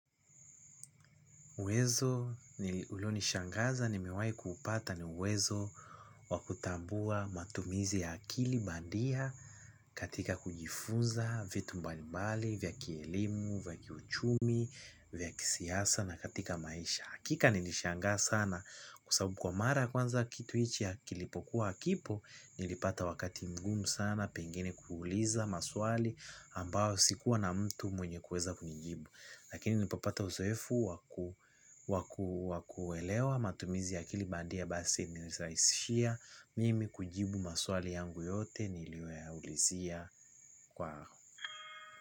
Uwezo, ulio nishangaza ni mewai kuupata ni uwezo wakutambua matumizi ya akili bandia katika kujifunza vitu mbalimbali, vya kielimu, vya kiuchumi, vya kisiasa na katika maisha. Hakika nilishangaa sana kwa sababu kwa mara kwanza kitu ichi kilipokuwa hakipo nilipata wakati mgumu sana pengine kuuliza maswali ambao sikuwa na mtu mwenye kuweza kunijibu. Lakini nilipopata uzoefu wakuelewa matumizi ya akili bandia basi niliraisishia mimi kujibu maswali yangu yote niliyo yaulizia kwa.